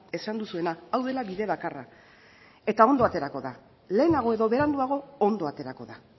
esan duzuena hau dela bide bakarra eta ondo aterako da lehenago edo beranduago ondo aterako da